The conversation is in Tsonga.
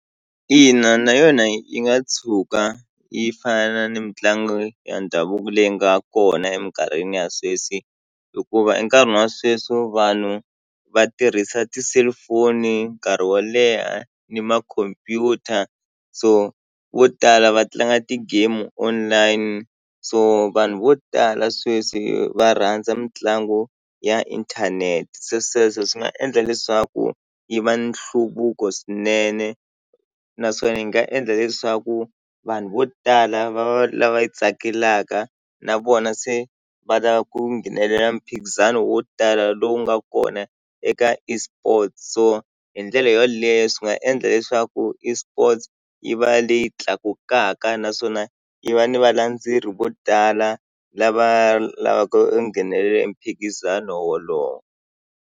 Ina na yona yi nga tshuka yi fana ni mitlangu ya ndhavuko leyi nga kona eminkarhini ya sweswi hikuva e nkarhini wa sweswi vanhu va tirhisa ti-cellphone nkarhi wo leha ni makhompyuta so vo tala va tlanga ti-game online so vanhu vo tala sweswi va rhandza mitlangu ya inthanete se sweswo swi nga endla leswaku yi va nhluvuko swinene naswona yi nga endla leswaku vanhu vo tala va va lava yi tsakelaka na vona se va la ku nghenelela mphikizano wo tala lowu nga kona eka eSports so hi ndlela yoleyo swi nga endla leswaku eSports yi va leyi tlakukaka naswona yi va ni valandzeri vo tala lava lavaka nghenelela e miphikizano wolowo.